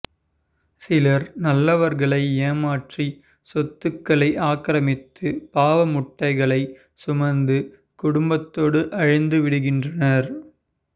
சிலர் நல்லவர்களை ஏமாற்றி சொத்துக்களை ஆக்கிரமித்து பாவ மூட்டைகளைச் சுமந்து குடும்பத்தோடு அழிந்து விடுகின்றனர்